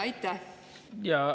Teie aeg!